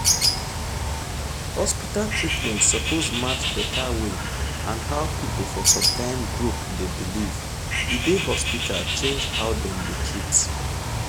hospital treatment suppose match better way and how people for som kyn group de believe e de hospital change how dem dey treat